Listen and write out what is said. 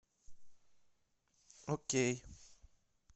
окей